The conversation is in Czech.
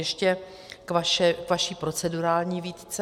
Ještě k vaší procedurální výtce.